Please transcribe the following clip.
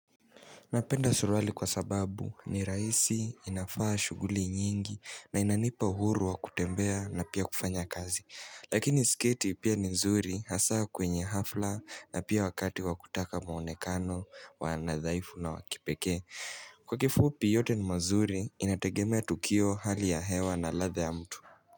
Napenda suruali kwa sababu ni rahisi, inafaa shughuli nyingi na inanipa uhuru wa kutembea na pia kufanya kazi. Lakini sketi pia ni nzuri haswa kwenye hafla na pia wakati wa kutaka mwonekano wa nadhaifu na wa kipeke. Kwa kifupi yote ni mazuri inategemea tukio, hali ya hewa na ladha ya mtu.